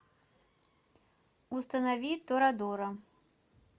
установи торадора